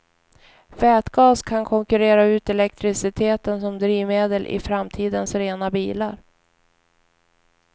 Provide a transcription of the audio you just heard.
Vätgas kan konkurrera ut elektriciteten som drivmedel i framtidens rena bilar.